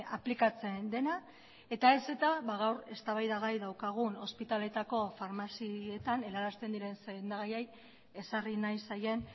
aplikatzen dena eta ez eta gaur eztabaida gai daukagun ospitaletako farmazietan helarazten diren sendagaiei ezarri nahi zaien